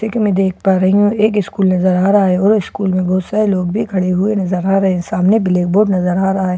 ठीक है मैं देख पा रही हूँ एक स्कूल नजर आ रहा है और स्कूल में बहोत सारे लोग भी खड़े हुए नजर आ रहे है सामने ब्‍लैक बोर्ड नजर आ रहा है।